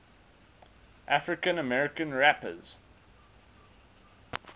african american rappers